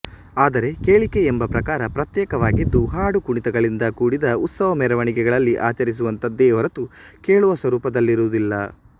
ಆದರೆ ಕೇಳಿಕೆ ಎಂಬ ಪ್ರಕಾರ ಪ್ರತ್ಯೇಕವಾಗಿದ್ದು ಹಾಡು ಕುಣಿತಗಳಿಂದ ಕೂಡಿದ ಉತ್ಸವ ಮೆರವಣಿಗೆಗಳಲ್ಲಿ ಆಚರಿಸುವಂಥದ್ದೇ ಹೊರತು ಕೇಳುವ ಸ್ವರೂಪದಲ್ಲಿರುವುದಿಲ್ಲ